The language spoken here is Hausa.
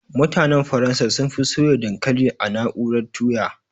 Mutanen Faransa sunfi soya dankalin a na'urar tuya